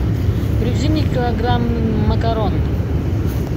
привези мне килограмм макарон